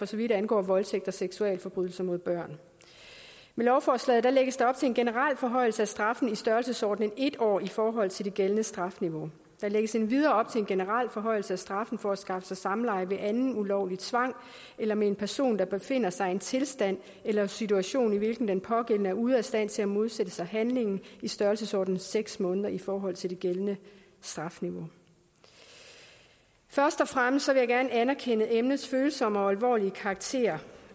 så vidt angår voldtægt og seksualforbrydelser mod børn med lovforslaget lægges der op til en generel forhøjelse af straffen i størrelsesordenen en år i forhold til det gældende strafniveau der lægges endvidere op til en generel forhøjelse af straffen for at skaffe sig samleje ved anden ulovlig tvang eller med en person der befinder sig i en tilstand eller situation i hvilken den pågældende er ude af stand til at modsætte sig handlingen i størrelsesordenen seks måneder i forhold til det gældende strafniveau først og fremmest vil jeg gerne anerkende emnets følsomme og alvorlige karakter